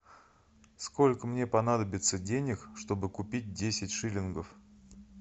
сколько мне понадобится денег чтобы купить десять шиллингов